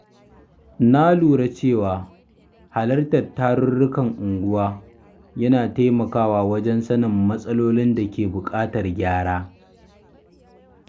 Na lura cewa halartar tarurrukan unguwa yana taimakawa wajen sanin matsalolin da ke bukatar gyara.